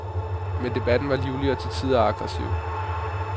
Men debatten var livlig og til tider aggressiv.